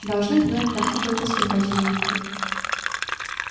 должны знать там какой то скрипач знаменитый